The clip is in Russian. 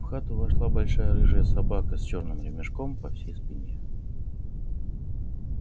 в хату вошла большая рыжая собака с чёрным ремешком по всей спине